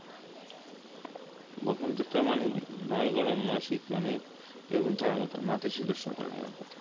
বসন্তে তো মানে নয় গরম নয় শীত মানে এরকম থাকার কথা নতিশীতোষ্ণ থাকার কথা